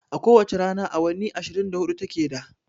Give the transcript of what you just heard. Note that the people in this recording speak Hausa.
A ko wace rana awanni ashirin da hudu ta ke da